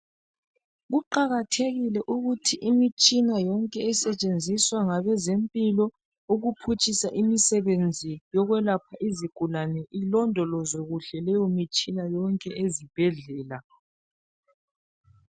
Kuqakathekile ukuthi imitshina yonke esetshenziswa ngabezempilo ukuphutshisa imisebenzi yokwelapha izigulane ilondolozwe kuhle leyo mitshina ezibhedlela.